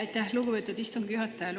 Aitäh, lugupeetud istungi juhataja!